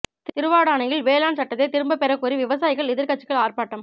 திருவாடானையில் வேளாண் சட்டத்தை திரும்ப பெறக்கோரி விவசாயிகள் எதிா் கட்சிகள் ஆா்பாட்டம்